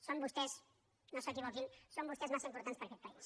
són vostès no s’equivoquin massa importants per a aquest país